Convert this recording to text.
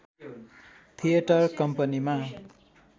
theatre कम्पनीमा